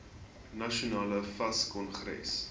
nasionale fas kongres